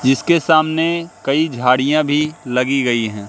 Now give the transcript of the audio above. जिसके सामने कइ झाड़ियां भी लगी गई हैं।